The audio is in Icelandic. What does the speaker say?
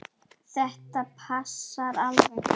Þetta passar alveg.